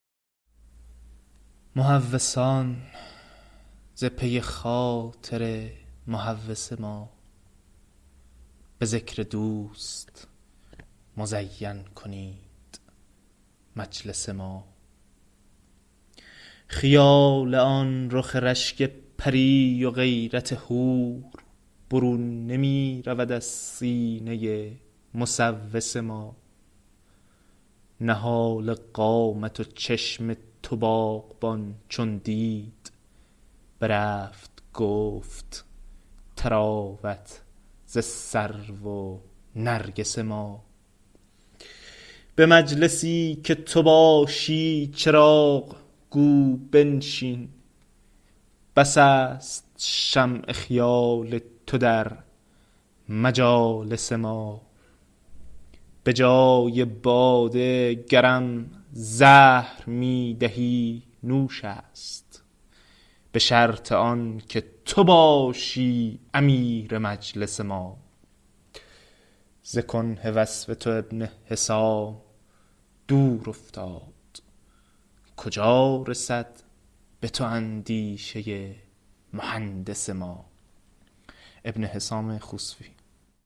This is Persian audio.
مهوسان ز پی خاطر مهوس ما به ذکر دوست مزین کنید مجلس ما خیال آن رخ رشک پری و غیرت حور برون نمی رود از سینه مسوس ما نهال قامت و چشم تو باغبان چون دید برفت -گفت- طراوت ز سرو و نرگس ما به مجلسی که تو باشی چراغ گو بنشین بس است شمع خیال تو در مجالس ما به جای باده گرم زهر می دهی نوش است به شرط آن که تو باشی امیر مجلس ما ز کنه وصف تو ابن حسام دور افتاد کجا رسد به تو اندیشه مهندس ما